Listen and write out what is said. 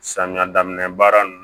Samiya daminɛ baara nin